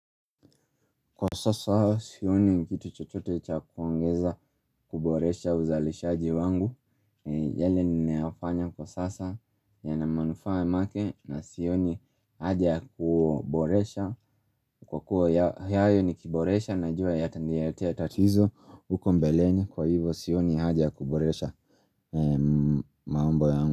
Kwa sasa sioni kitu chotote cha kuongeza kuboresha uzalishaji wangu yale ninayofanya kwa sasa yana manufaa make na sioni haja kuboresha kwa kuwa yayo nikuboresha najua yataniletea tatizo huko mbeleni kwa hivo sioni haja ya kuboresha mambo yangu.